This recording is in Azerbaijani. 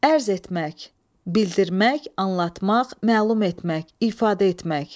Ərz etmək, bildirmək, anlatmaq, məlum etmək, ifadə etmək.